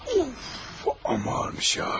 Of, aman, ağır imiş ya.